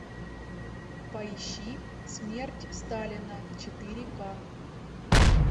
поищи смерть сталина четыре ка